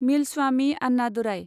Milswami Annadurai